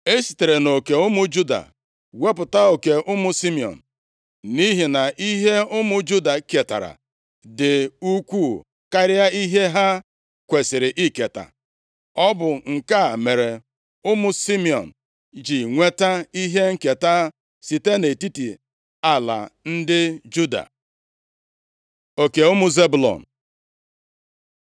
E sitere nʼoke ụmụ Juda wepụta oke ụmụ Simiọn, nʼihi na ihe ụmụ Juda ketara dị ukwuu karịa ihe ha kwesiri iketa. Ọ bụ nke a mere ụmụ Simiọn ji nweta ihe nketa site nʼetiti ala ndị Juda. Oke ụmụ Zebụlọn